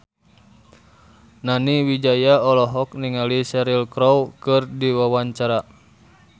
Nani Wijaya olohok ningali Cheryl Crow keur diwawancara